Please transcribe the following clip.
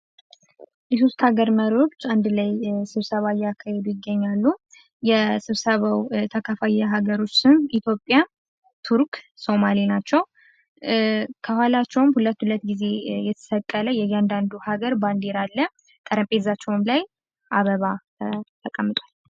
የሶስት ሀገር መሪዎች አንድ ላይ ስብሰባ እያካሄዱ ይገኛሉ። የስብሰባው ተካፋይ የሀገሮች ስም ኢትዮጵያ፣ ቱርክ፣ ሶማሌ ናቸው። ከኋላቸውም ሁለት ሁለት ጊዜ የተሰቀለ የእያንዳንዱ ሀገር ባንዲራ አለ ጠረጴዛቸውም ላይ አበባ ተቀምጧል።